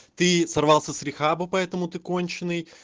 ты сорвался с рехаба поэтому ты конченый